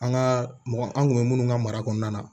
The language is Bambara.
An ka mɔgɔ an kun bɛ minnu ka mara kɔnɔna na